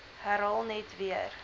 herhaal net weer